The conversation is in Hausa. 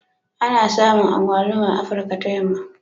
Ana samun Agbaluma a Afirka ta Yamma ne